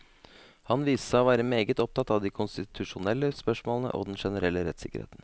Han viste seg å være meget opptatt av de konstitusjonelle spørsmålene og den generelle rettssikkerheten.